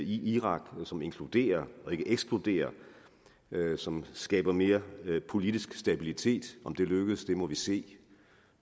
irak som inkluderer og ikke ekskluderer og som skaber mere politisk stabilitet om det lykkes må vi se